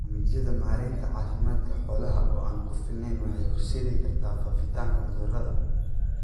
Barnaamijyada maaraynta caafimaadka xoolaha oo aan ku filnayn waxay horseedi kartaa faafitaanka cudurrada.